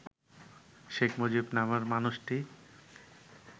শেখ মুজিব নামের মানুষটি